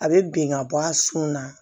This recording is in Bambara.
A bɛ bin ka bɔ a sun na